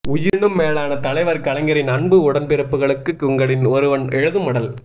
உயிரினும் மேலான தலைவர் கலைஞரின் அன்பு உடன்பிறப்புகளுக்கு உங்களில் ஒருவன் எழுதும் மடல்